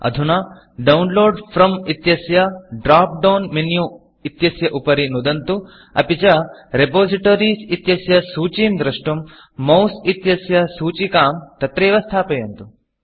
अधुना डाउनलोड Fromडौन्लोड् फ्रोम् इत्यस्य ड्रॉप डाउन menuड्रोप् डौन् मेन्यु इत्यस्य उपरि नुदन्तु अपि च Repositoriesरिपोसिटरीस् इत्यस्य सूचीं द्रष्टुं Mouseमौस् इत्यस्य सूचिकां तत्रैव स्थापयन्तु